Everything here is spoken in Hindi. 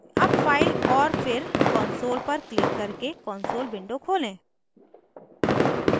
अब file और फिर console पर क्लिक करके console window खोलें